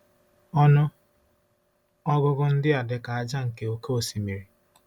Ọnụ ọgụgụ ndị a dị ka ájá nke oké osimiri. ”